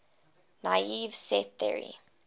naive set theory